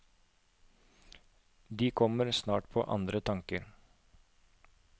De kommer snart på andre tanker.